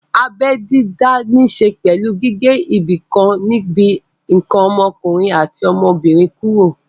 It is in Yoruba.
Abẹ́ dídá ní ṣe pẹ̀lú gígé ibìkan níbi ǹkan ọmọkùnrin àti ọmọbìnrin kúrò